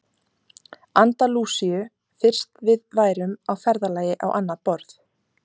Andalúsíu fyrst við værum á ferðalagi á annað borð.